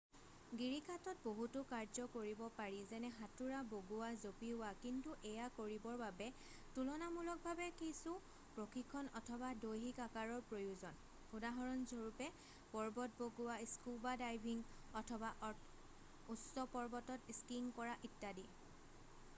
গিৰিখাতত বহুতো কাৰ্য কৰিব পাৰি যেনে সাঁতোৰা বগোৱা জপিওৱা-- কিন্তু এয়া কৰিবৰ বাবে তুলনামূলকভাৱে কিছু প্ৰশিক্ষণ অথবা দৈহিক আকাৰৰ প্ৰয়োজন উদাহৰণস্বৰূপে পৰ্বত বগোৱা স্কুউবা ডাইভিং অথবা অথবা উচ্চ পৰ্বতত স্কীং কৰা ইত্যাদি